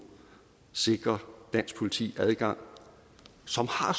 sikrer dansk politi adgang som har